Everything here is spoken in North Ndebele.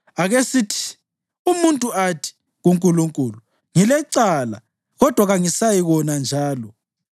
Akesithi umuntu athi kuNkulunkulu, ‘Ngilecala kodwa kangisayikona njalo.